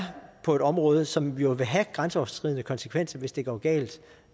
på et område som jo vil have grænseoverskridende konsekvenser hvis det går galt